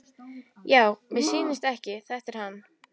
Já, mér missýnist ekki, þetta er hann.